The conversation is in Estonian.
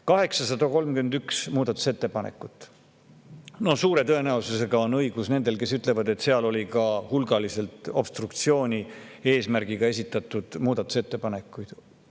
831 muudatusettepanekut – no suure tõenäosusega on õigus nendel, kes ütlevad, et seal oli ka hulgaliselt obstruktsiooni eesmärgil esitatud muudatusettepanekuid.